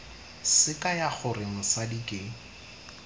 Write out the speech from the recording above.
se kaya gore mosadi ke